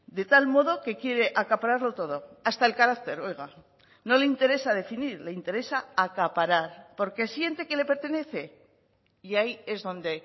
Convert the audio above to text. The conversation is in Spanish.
de tal modo que quiere acapararlo todo hasta el carácter oiga no le interesa definir le interesa acaparar porque siente que le pertenece y ahí es donde